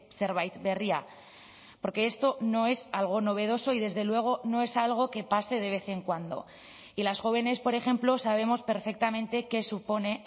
zerbait berria porque esto no es algo novedoso y desde luego no es algo que pase de vez en cuando y las jóvenes por ejemplo sabemos perfectamente qué supone